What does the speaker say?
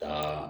Ka